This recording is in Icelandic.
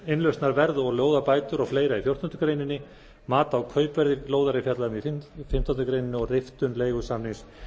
lóðarbætur og fleira í fjórtándu grein mat á kaupverði lóðar er fjallað um í fimmtándu greinar og riftun leigusamnings